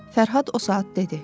Fərhad o saat dedi.